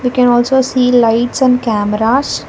we can also see lights and cameras.